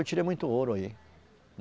Eu tirei muito ouro aí